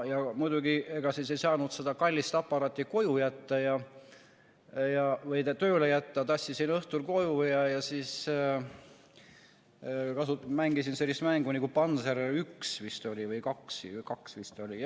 Muidugi ega siis ei saanud seda kallist aparaati töö juurde jätta, tassisin selle õhtul koju ja mängisin sellist mängu nagu Panzer 1 või 2, vist oli.